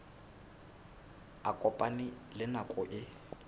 a kopane le nako eo